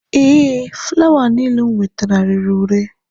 Ee, fụlawa niile m nwetara rere ure.